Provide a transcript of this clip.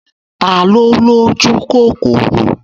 Ta ló lójúkòkòrò?